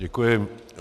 Děkuji.